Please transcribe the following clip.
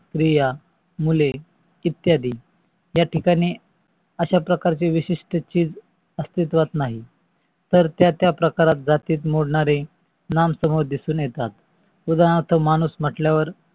प्रिया, मुले इत्यादी या ठिकाणी अशा प्रकारचे विशिष्ट चीज अस्तित्वात नाही तर त्या त्या प्रकारात जातीत मोडणारे नाम समोर दिसून येतात. उदारणार्थ माणूस म्हटल्यावर